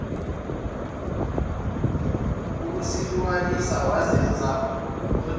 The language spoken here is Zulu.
ukusihlukanisa wazenza odinwayo